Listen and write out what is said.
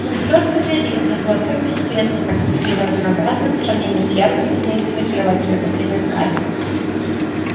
но черт подери она была так бесцветна так тоскливо-однообразна по сравнению с яркой изменчивой очаровательно-капризной скарлетт